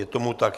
Je tomu tak.